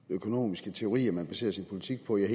økonomiske teorier man baserer sin politik på jeg